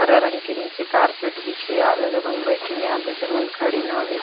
हरा रंग के निचे कारपेट बिछे हे आधा जमन बईठिन हे आधा झन मन खड़िन हावे।